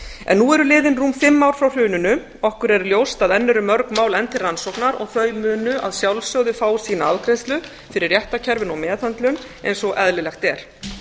en nú eru liðin rúm fimm ár frá hruninu okkur er ljóst að enn eru mörg mál enn til rannsóknar þau munu að sjálfsögðu fá sína afgreiðslu fyrir réttarkerfinu og meðhöndlun eins og eðlilegt er